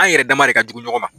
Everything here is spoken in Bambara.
An yɛrɛ dama de ka jugu ɲɔgɔn ma.